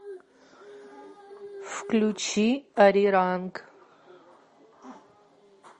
включи ари ранг